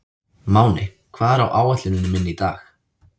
Máney, hvað er á áætluninni minni í dag?